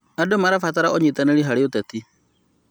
Andũ marabatara ũnyitanĩri harĩ ũteti.